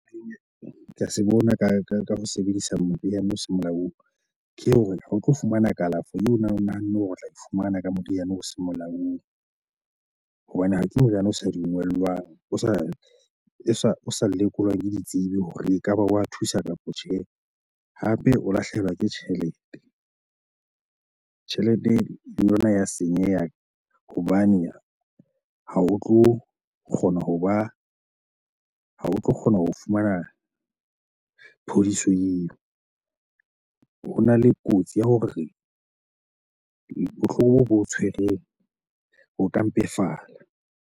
Ke a se bona ka ho sebedisa moriana o seng molaong ke hore ha o tlo fumana kalafo eo nahanne hore o tla e fumana ka moriana o seng molaong. Hobane ha ke moriana o sa dungellwang, o sa lekolwang ke ditsebi hore ekaba wa thusa kapa tjhe. Hape o lahlehelwa ke tjhelete, tjhelete le yona ya senyeha hobane ha o tlo kgona hoba, ha o tlo ho kgona ho fumana phodiso eo. Hona le kotsi ya hore bohloko bo o tshwereng bo ka mpefala.